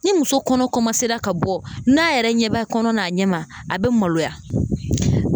Ni muso kɔnɔ ka bɔ n'a yɛrɛ ɲɛ b'a kɔnɔ n'a ɲɛma, a be maloya.